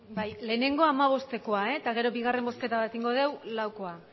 bai lehenengo hamabostekoa eta gero bigarren bozketa bat egingo dugu laukoa